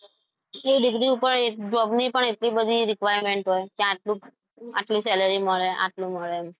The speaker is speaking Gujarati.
એ degree પર પણ job ની પણ એટલી બધી requirement કે આટલું સેલેરી salary મળે આટલું મળે.